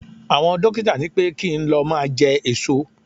Àwọn dókítà ní pé kí n lọ máa jẹ èso.